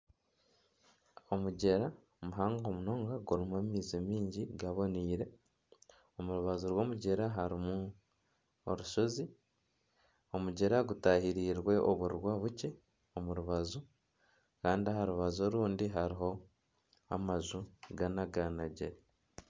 Omugyera muhango munonga gurimu amaizi mingi gaboniire omu rubaju rw'omugyera harimu orushozi, omugyera gutahirirwe oburwa bukye omu rubaju kandi aha rubaju orundi hariho amaju ganaganagire.